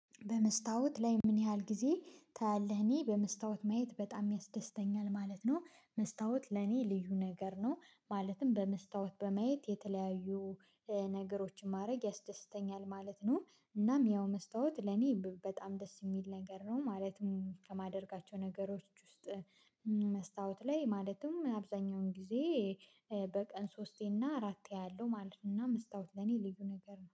በመስታወት ላይ ምን ያህል ጊዜ ታያለህ? እኔ በመስታወት ማየት በጣም ያስደስተኛል ማለት ነው። መስታወት ለእኔ ልዩ ነገር ነው። ማለትም በመስታወት በማየት የተለያዩ ነገሮችን ማድረግ ያስደስተኛል ማለት ነው። እናም ያው መስታወት ለኔ በጣም ደስ የሚል ነገር ነው ማለትም ከማደርጋቸው ነገሮች ውስጥ። መስታወት ላይ ማለትም አብዛኛውን ጊዜ በቀን ሶስቴ እና አራቴ አለው ማለት ነው። እና መስታወት ለኔ ልዩ ነገር ነው